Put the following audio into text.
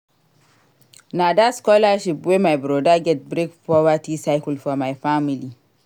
Na dat scholarship wey my broda get break poverty cycle for my family.